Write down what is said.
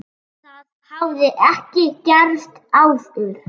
Það hafi ekki gerst áður.